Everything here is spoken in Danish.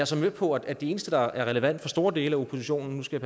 så med på at det eneste der er relevant for store dele af oppositionen nu skal